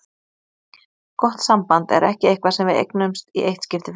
Gott samband er ekki eitthvað sem við eignumst í eitt skipti fyrir öll.